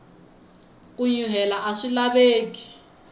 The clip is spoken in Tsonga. ku nyuhela aswi laveki